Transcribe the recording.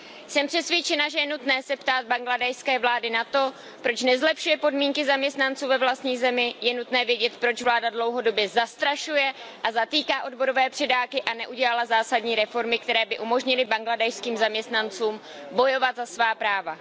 Jsem přesvědčena, že je nutné se ptát bangladéšské vlády na to, proč nezlepšuje podmínky zaměstnanců ve vlastní zemi, je nutné vědět, proč vláda dlouhodobě zastrašuje a zatýká odborové předáky a neudělala zásadní reformy, které by umožnily bangladéšským zaměstnancům bojovat za svá práva.